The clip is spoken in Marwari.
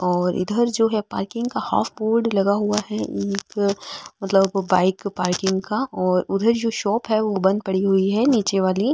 और इधर जो है पार्किंग का हाफ बोर्ड लगा हुआ है एक मतलब बाइक पार्किंग का और उधर जो शॉप है वो बंद पड़ी हुई है निचे वाली।